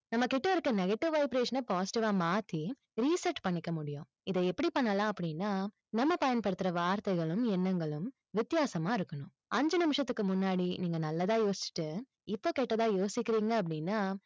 நம்மகிட்ட இருக்க negative vibration ன positive வா மாத்தி reset பண்ணிக்க முடியும். இதை எப்படி பண்ணலாம் அப்படின்னா, நம்ம பயன்படுத்துற வார்த்தைகளும், எண்ணங்களும், வித்தியாசமா இருக்கணும். அஞ்சு நிமிஷத்துக்கு முன்னாடி, நீங்க நல்லதா யோசிச்சுட்டு, இப்போ கெட்டதா யோசிக்கிறீங்க அப்படின்னா,